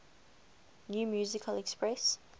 new musical express